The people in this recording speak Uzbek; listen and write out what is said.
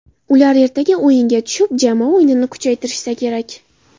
Ular ertaga o‘yinga tushib, jamoa o‘yinini kuchaytirishsa kerak.